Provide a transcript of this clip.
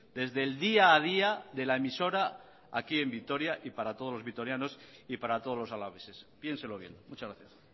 desde el día a día de la emisora aquí en vitoria y para todos los vitorianos y para todos los alaveses piénselo bien muchas gracias